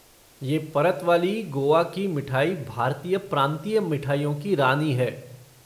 ये परत वाली गोआ कि मिठाई भारतीय प्रांतीय मिठाइयों की रानी है।